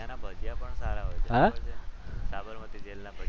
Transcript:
ત્યાંના ભજીયા સારા હોય છે.